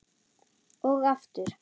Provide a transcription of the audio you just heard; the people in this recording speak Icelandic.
Og aftur.